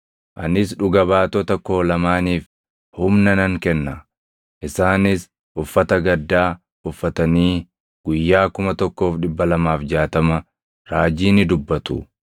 Anis dhuga baatota koo lamaaniif humna nan kenna; isaanis uffata gaddaa + 11:3 Uffanni gaddaa uffata raajonni yeroo hunda uffatanii dha (\+xt Isa 20:2; Zak 13:4\+xt* ilaalaa). uffatanii guyyaa 1,260 raajii ni dubbatu.”